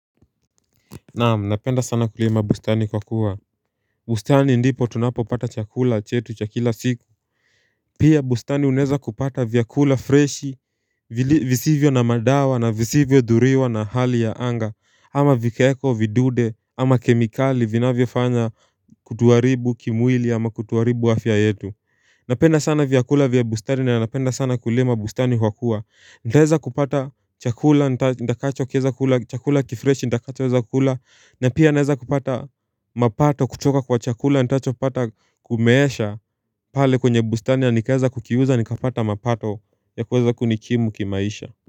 Naam, napenda sana kulima bustani kwa kuwa bustani ndipo tunapo pata chakula chetu cha kila siku Pia bustani unaweza kupata vyakula freshi visivyo na madawa na visivyo dhuriwa na hali ya anga ama vikwaekwa vidude, ama kemikali vinavyofanya kutuharibu kimwili ama kutuharibu afya yetu Napenda sana vyakula vya bustani na napenda sana kulima bustani kwa kuwa nitaweza kupata chakula nitakacho kieza kula chakula kifreshi nitakacho weza kula na pia naweza kupata mapato kutoka kwa chakula nitakachopata kumeesha pale kwenye bustani nikaeza kukiuza nikapata mapato ya kuweza kunikimu kimaisha.